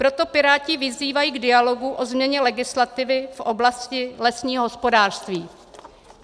Proto Piráti vyzývají k dialogu o změně legislativy v oblasti lesního hospodářství.